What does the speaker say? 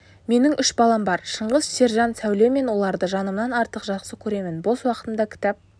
менің үш балам бар шыңғыс сержан сәуле мен оларды жанымнан артық жақсы көремін бос уақытымда кітап